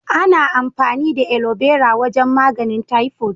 Ana amfani da Aloe Vera wajen maganin "typhoid".